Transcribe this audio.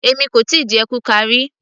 Èmi kò tíì jẹ kuka ríi